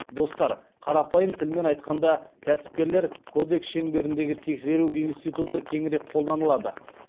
достар қарапайым тілмен айтқанда кәсіпкерлер кодекс шеңберіндегі тексеру институты кеңірек қолданылады